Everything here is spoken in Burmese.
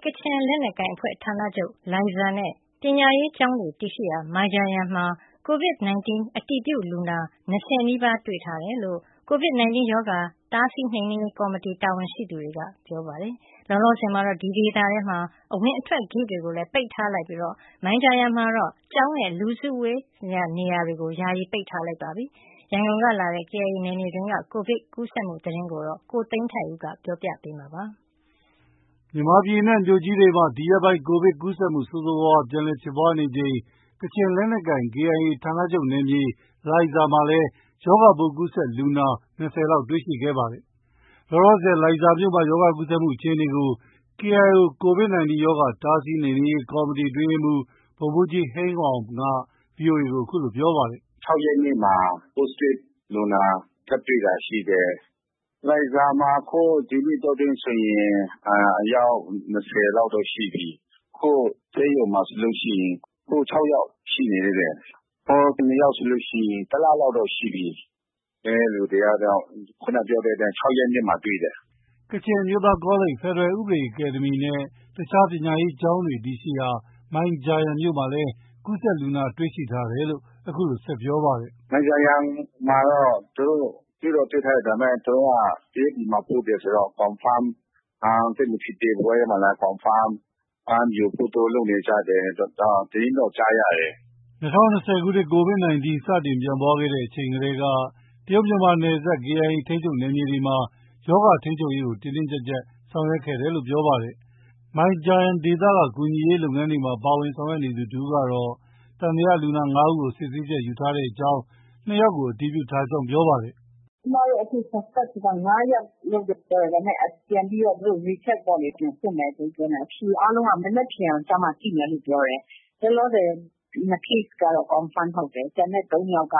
ကချင်လက်နက်ကိုင်အဖွဲ့ ဌာနချုပ် လိုင်ဇာနဲ့ ပညာရေးကျောင်းများ တည်ရှိရာ မိုင်ဂျာယန်မှာ Covid 19 အတည်ပြုလူနာ ၂၀ နီးပါး တွေ့ရှိထားကြောင်း COVID-19 ရောဂါ တားဆီးနှိမ်နင်းရေး ကော်မတီ တာဝန်ရှိသူက ပြောပါတယ်။ လောလောဆည်မှာတော့ ဒီဒေသတွေအတွင်း အဝင်အထွက် ဂိတ်တွေကိုလည်း ပိတ်ထားလိုက်သလို မိုင်ဂျာယန်မှာတော့ ကျောင်းနဲ့ လူစုဝေးရာနေရာတွေကို ယာယီ ပိတ်ထားလိုက်ပြီ ဖြစ်ပါတယ်။ ရန်ကုန်ကလာတဲ့ KIA နယ်မြေအတွင်းက Covid ကူးစက်မှု သတင်းကို ဦးသိန်းထိုက်ဦးက ပြောပြပါမယ်။ မြန်မာပြည်အနှံ မြို့ကြီးတွေမှာ ဒီရက်ပိုင်းအတွင်း Covid ကူးစက်မှု ဆိုးဆိုးဝါးဝါး ပြန်လည် ဖြစ်ပွားနေချိန် ကချင်လက်နက်ကိုင် KIA ဌာနချုပ်နယ်မြေ လိုင်ဇာမှာလည်း ရောဂါပိုး ကူးစက်လူနာ ၂၀ လောက်တွေ့ရှိခဲ့ပါတယ်။ လောလောဆည် လိုင်ဇာမြို့မှာ ရောဂါ ကူးစက်မှုအခြေအနေကိုKIO COVID-19 ရောဂါ တားဆီးနှိမ်နင်းရေး ကော်မတီ အတွင်းရေးမှုး ဗိုလ်မှုးကြီး ဟိန်းဝေါမ်က VOA ကို အခုလို ပြောပါတယ်။ “ ၆ရက်နေ့မှာ Positive လူနာ ထပ်တွေ့တာရှိတယ်။ လိုင်ဇာမှာ အခု ဒီနှစ်အတောအတွင်းဆိုရင် အယောက် ၂၀လောက်တော့ ရှိပြီ။ အခု ဆေးရုံမှာဆိုရင် ၆ယောက်ရှိနေသေးတယ်။ ဟို ၂ယောက်ဆိုရင် တစ်လလောက် တော့ ရှိပြီ။ ကျန်တဲ့လူတွေကတော့ ၆ရက်နေ့မှာ တွေ့တယ်။ ” ကချင်အမျိုးသားကောလိပ်၊ ဖက်ဒရယ်ဥပဒေအကယ်ဒမီနဲ့ အခြားပညာရေးကျောင်းတွေ တည်ရှိရာ မိုင်ဂျာယန်မြို့မှာလည်း ကူးစက်လူနာ တွေ့ရှိထားတယ်လို့ အခုလို ဆက်ပြောပါတယ်။ “ မိုင်ဂျာယန်မှာတော့ သူတို့ တွေ့တော့ တွေ့ထားတယ်။ ဒါပေမဲ့ သူတို့က တရုတ်ပြည်မှာ ပို့တယ်ဆိုတော့ Confirm သိပ်မဖြစ်သေးဘူး။ အဲဒီမှာလည်း Confirm ယူဖို့ သူတို့ လုပ်နေကြတယ်။ ” ၂၀၂၀ခုနှစ် Covid 19 စတင်ပြန့်ပွားချိန်ထဲက တရုတ် မြန်မာနယ်စပ် KIA ထိန်းချုပ်နယ်မြေတွေမှာ ရောဂါထိန်းချုပ်ရေးကို တင်းတင်းကျပ်ကျပ် ဆောင်ရွက်ခဲ့တယ်လို့ ပြောပါတယ်။ မိုင်ဂျာယန်ဒေသက ကူညီရေးလုပ်ငန်းတွေမှာ ပါဝင်ဆောင်ရွက်နေသူ တစ်ဦးကတော့ သံသယလူနာ ၅ဦးကို ဆေးစစ်ချက်ယူထားကြောင်း၊ ၂ ဦးကို အတည်ပြုထားကြောင်း ပြောပါတယ်။ “ ကျမတို့ Suspect လူနာ ၅ယောက်လို့တော့ ပြောတယ်။ ဒါပေမဲ့ သူတို့ ပြန်ပြီးတော့ Recheck ပေါ့လေ။ သူတို့ ပြန်စစ်မယ်ဆိုပြီးပြောနေတာ။ အဖြေအားလုံးက မနက်ဖန် ကျမှ သိမယ်လို့ ပြောတယ်။ လောလောဆည် နှစ် Case ကတော့ Confirm ဟုတ်တယ်။ ကျန်တဲ့ ၃ယောက်က